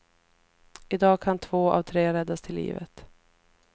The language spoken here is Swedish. I dag kan två av tre räddas till livet.